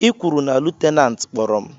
I kwuru na lutenantị kpọrọ m?